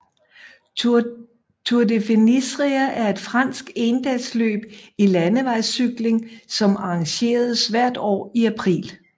Tour du Finistère er et fransk endagsløb i landevejscykling som arrangeres hvert år i april